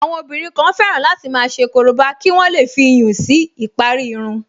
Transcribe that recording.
Àwọn obìnrin kan fẹ́ràn láti máa ṣe korobá kí wọ́n lè fi iyùn si ìparí irun